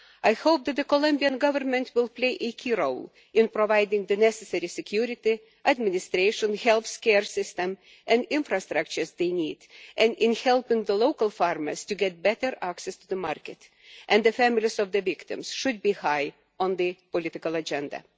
I hope that the Colombian Government will play a key role in providing the necessary security, administration, healthcare system and infrastructure they need and in helping the local farmers to get better access to the market, and the families of the victims should be high on the political agenda.